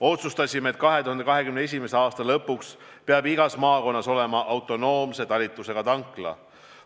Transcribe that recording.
Otsustasime, et 2021. aasta lõpuks peab igas maakonnas olema autonoomse talitlusega tankla.